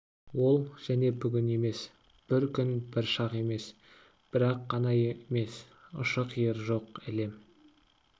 ол және бүгін емес бір күн бір шақ емес бір-ақ қана емес ұшы-қиыры жоқ әлем